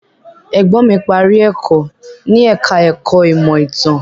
Ẹ̀gbọ́n mí parí ẹ̀kọ́ ní ẹ̀ka ẹ̀kọ́ ìmọ̀ ìtàn.